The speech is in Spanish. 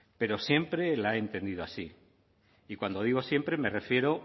pero siempre la he entendido así y cuando digo siempre me refiero